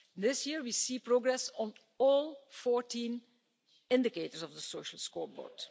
This year, we see progress on all 14 indicators of the social scoreboard.